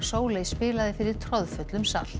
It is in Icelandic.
Sóley spilaði fyrir troðfullum sal